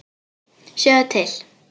Sjáðu til.